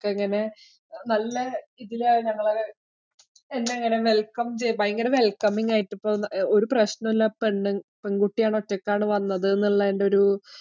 ഇങ്ങനെ നല്ല ഇതിലാ അവരവിടെ എന്നെ അങ്ങനെ welcome ചെയ്യാ ഭയങ്കര welcoming ആയിട്ടു ഒരു പ്രശ്നം ഇല്ല. പെണ്ണ് പെണ്‍കുട്ടികള്‍ ഒറ്റയ്ക്കാ വന്നത് എന്ന് ഉള്ളേന്‍റെ ഒരു